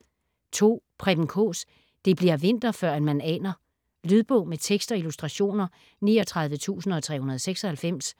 Preben Kaas: det bli'r vinter førend man aner Lydbog med tekst og illustrationer 39396